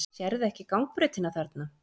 Sérðu ekki gangbrautina þarna?